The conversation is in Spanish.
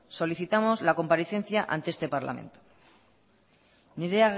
solicitamos la comparecencia ante este parlamento nire